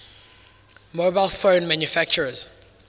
mobile phone manufacturers